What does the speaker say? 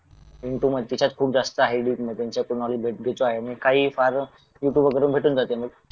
into मग तिच्यात खूप जास्त आहे त्यांच्याकडून नॉलेज घेतो आहे मी यूट्यूब वरून भेटून जाते मग